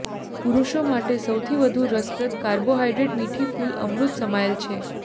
પુરુષો માટે સૌથી વધુ રસપ્રદ કાર્બોહાઈડ્રેટ મીઠી ફૂલ અમૃત સમાયેલ છે